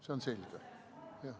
See on selge.